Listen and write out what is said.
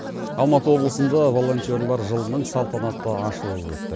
алматы облысында волонтерлар жылының салтанатты ашылуы өтті